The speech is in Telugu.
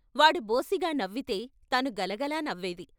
వాడు బోసిగా నవ్వితే తను గల గల నవ్వేది.